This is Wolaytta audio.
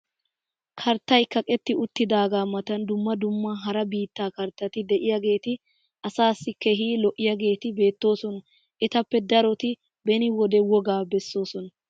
karttay kaqetti uttidaaga matan dumma dumma hara biittaa karttatti diyaageeti asaassi keehi lo'iyaageeti beetoosona. etappe daroti beni wode wogaa besoosona.